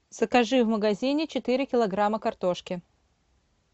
закажи в магазине четыре килограмма картошки